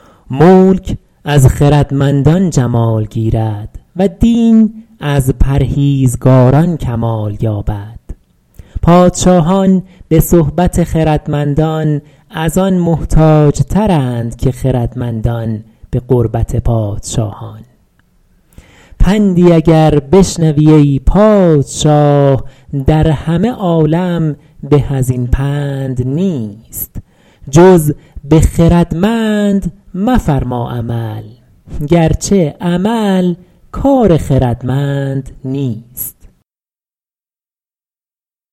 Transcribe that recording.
ملک از خردمندان جمال گیرد و دین از پرهیزگاران کمال یابد پادشاهان به صحبت خردمندان از آن محتاج ترند که خردمندان به قربت پادشاهان پندی اگر بشنوی ای پادشاه در همه عالم به از این پند نیست جز به خردمند مفرما عمل گرچه عمل کار خردمند نیست